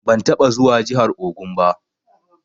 Ban taɓa zuwa jihar Ogun ba.